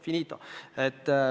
Finito.